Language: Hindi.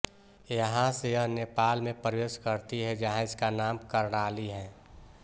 यहाँ से यह नेपाल में प्रवेश करती है जहाँ इसका नाम कर्णाली है